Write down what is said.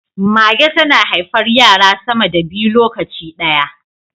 Mage tana haifar yara sama da biyu lokaci daya